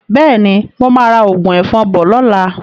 Bẹ́ẹ̀ni, mo máa ra òògùn ẹ̀fọn bọ̀ lọ́la.